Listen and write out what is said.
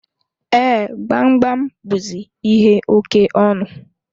Ee, Gbamgbam buzi ihe oke ọnụ